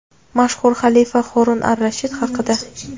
Mashhur xalifa Horun ar-Rashid haqida.